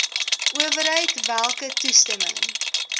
owerheid welke toestemming